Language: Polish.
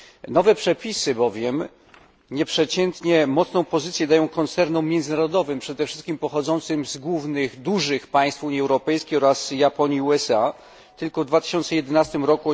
Nowe przepisy bowiem nieprzeciętnie mocną pozycję dają koncernom międzynarodowym, przede wszystkim pochodzącym z głównych dużych państw Unii Europejskiej oraz Japonii i USA. Tylko w 2011 r.